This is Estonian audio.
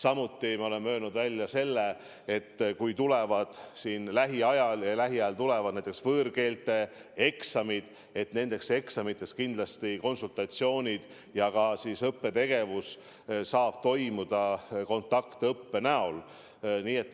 Veel oleme öelnud välja, et kui lähiajal tulevad eksamid – ja lähiajal tulevad näiteks võõrkeelte eksamid –, siis nendeks eksamiteks saavad konsultatsioonid ja ka õppetegevus kindlasti toimuda kontaktõppe näol.